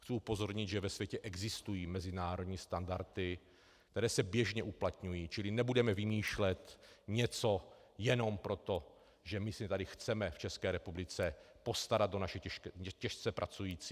Chci upozornit, že ve světě existují mezinárodní standardy, které se běžně uplatňují, čili nebudeme vymýšlet něco jenom proto, že my se tady chceme v České republice postarat o naše těžce pracující.